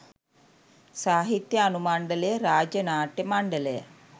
සාහිත්‍ය අනුමණ්ඩලය රාජ්‍ය නාට්‍ය මණ්ඩලය